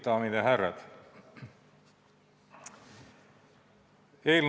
Daamid ja härrad!